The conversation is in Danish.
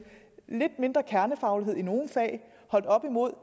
lidt mindre kernefaglighed i nogle fag holdt op imod